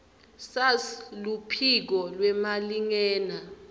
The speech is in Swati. sars luphiko lwemalingena